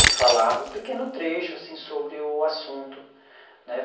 que falava um pequeno trecho assim sobre o assunto né.